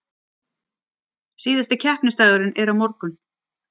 Síðasti keppnisdagurinn er á morgun